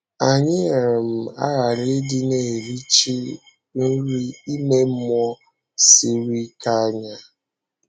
Anyị um aghàrị ịdị na-erìchì nri ime mmụọ siri ike anya.